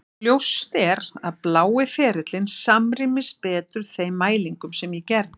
Ljóst er að blái ferillinn samrýmist betur þeim mælingum sem ég gerði.